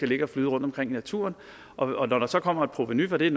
ligge og flyde rundtomkring i naturen og når der så kommer et provenu fra det